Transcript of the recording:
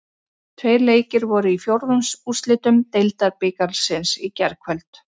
Tveir leikir voru í fjórðungsúrslitum Deildabikarsins í gærkvöld.